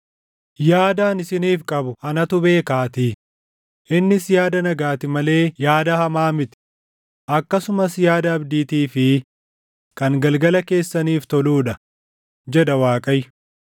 Yaada ani isiniif qabu anatu beekaatii; innis yaada nagaati malee yaada hamaa miti; akkasumas yaada abdiitii fi kan galgala keessaniif toluu dha” jedha Waaqayyo.